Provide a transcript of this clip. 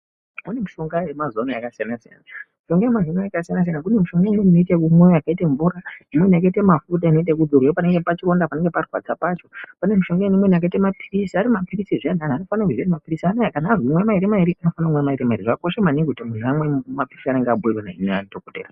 Imweni mishonga yemazuwa ano yakasiyana siyana. Mishonga yemazuwa ano kune inoitwa ekumwiwa yakaita mvura, imweni yakaita mafuta inozorwa pachironda panenge parwadza pacho. Pane mishonga imweni yakaita mapilizi. Pane mapilizi zveamweni antu anofanira kuziya kuti mapilizi anaya kana antu aziye imwai mairi anofanira kumwa mairi. Zvakakosha maningi kuti muntu amwe zvemene zvaanenge abhiirwa ngemadhokodhera